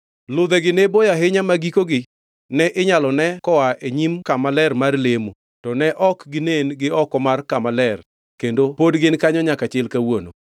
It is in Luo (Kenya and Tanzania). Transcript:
Ludhegi ne boyo ahinya ma gikogi ne inyalo ne koa e nyim Kama Ler e nyim kama ler mar lemo, to ne ok ginen gi oko mar Kama Ler kendo pod gin kanyo nyaka chil kawuono.